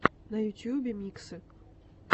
на ютюбе миксы